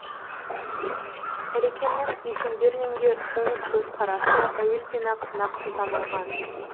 әлекемнің есенберлинге оң көзқарасы әуелден ақ нақты танылған